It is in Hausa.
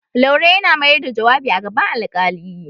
Laura yana mayar da jawabi a gaban alƙali.